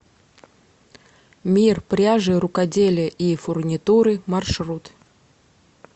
мир пряжи рукоделия и фурнитуры маршрут